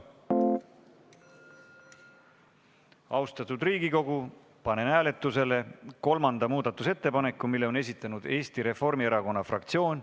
Austatud Riigikogu, panen hääletusele kolmanda muudatusettepaneku, mille on esitanud Eesti Reformierakonna fraktsioon.